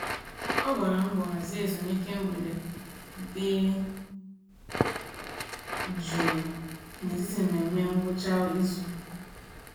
Ọ gbara mbọ hazie ezumiike mgbede dị jụụ n'etiti mmemme ngwụcha izu.